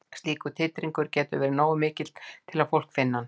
Slíkur titringur getur verið nógu mikill til að fólk finni hann.